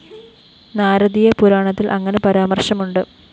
നാരദീയ പുരാണത്തില്‍ അങ്ങനെ പരാമര്‍ശമുണ്ട്